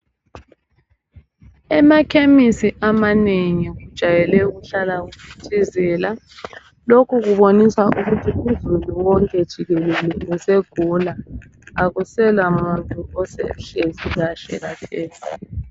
Emakhemesi amanengi kujayele ukuhlala kuphithizela lokhu kubonisa ukuthi uzulu wonke jikelele usegula akusela muntu osehlezi kahle khathesi.